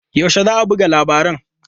Yaushe za a buga labaran?